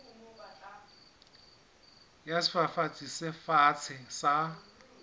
ya sefafatsi se fatshe sa